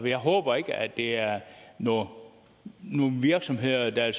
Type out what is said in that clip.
jeg håber ikke at det er nogen virksomheder der er